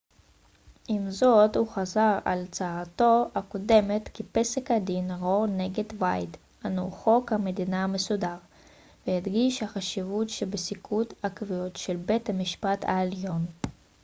עם זאת הוא חזר על הצהרתו הקודמת כי פסק הדין רו נגד ווייד הנו חוק המדינה המסודר והדגיש את החשיבות שבפסיקות עקביות של בית המשפט העליון